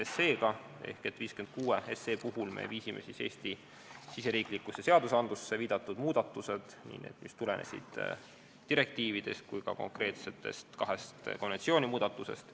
Eelnõuga 56 me viisime Eesti riigisisestesse seadustesse muudatused, mis tulenesid nii direktiividest kui ka kahest konventsiooni muudatusest.